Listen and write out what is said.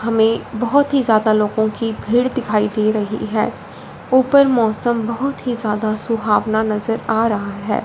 हमें बहुत ही ज्यादा लोगों की भीड़ दिखाई दे रही है ऊपर मौसम बहुत ही ज्यादा सुहावना नजर आ रहा है।